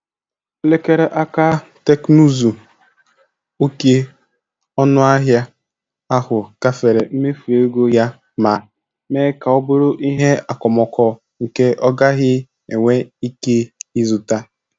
Elekere aka teknụzu oke ọnụahịa ahụ gafere mmefu ego ya ma mee ka ọ bụrụ ihe okomoko nke ọ gaghị enwe ike ịzụta.